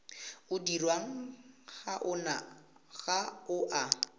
o dirwang ga o a